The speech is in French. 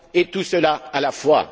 Tout cela à la fois.